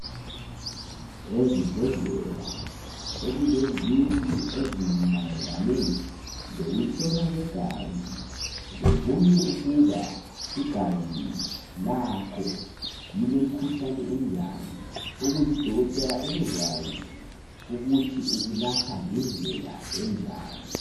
Ezibhedlela sokulezindlu ezimayelane lokujlolwa kwegazi bebone ukuba igazi lakho lilemkhuhlane enjani ukuze udokotela ebekwazi ukuthi ukulapha ngendlela enjani